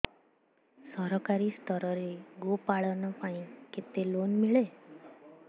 ସରକାରୀ ସ୍ତରରେ ଗୋ ପାଳନ ପାଇଁ କେତେ ଲୋନ୍ ମିଳେ